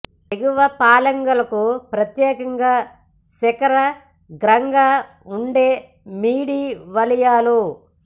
ఎగువ ఫలాంగ్ లకు ప్రత్యేకంగా శిఖరాగ్రంగా ఉండే మిడి వలయాలు